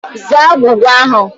Zaa agwụgwa ahụ!